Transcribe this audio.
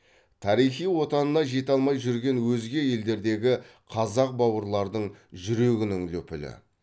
тарихи отанына жете алмай жүрген өзге елдердегі қазақ бауырлардың жүрегінің лүпілі